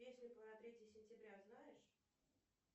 песню про третье сентября знаешь